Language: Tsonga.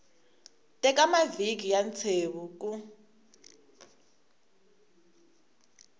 teka mavhiki ya ntsevu ku